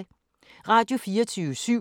Radio24syv